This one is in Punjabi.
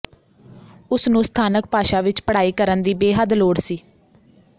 ਉਸ ਨੂੰ ਸਥਾਨਕ ਭਾਸ਼ਾ ਵਿੱਚ ਪੜ੍ਹਾਈ ਕਰਨ ਦੀ ਬੇਹੱਦ ਲੋੜ ਸੀ